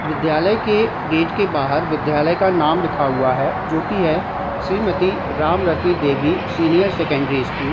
विद्यालय के गेट के बाहर विद्यालय का नाम लिखा हुआ है जो की है Shrimati Ramrati Devi senior secondary school.